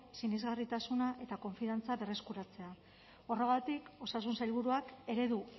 sinesgarritasuna eta konfiantza berreskuratzea horregatik osasun sailburuak eredu